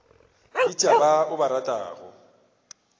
bitša ba o ba ratago